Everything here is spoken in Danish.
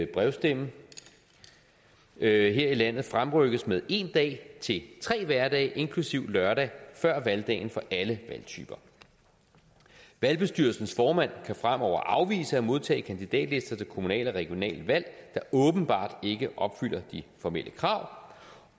brevstemme her i landet fremrykkes med en dag til tre hverdage inklusive lørdag før valgdagen for alle valgtyper valgbestyrelsens formand kan fremover afvise at modtage kandidatlister til kommunal og regionalvalg der åbenbart ikke opfylder de formelle krav